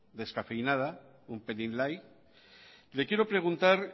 descafeinada un pelín light le quiero preguntar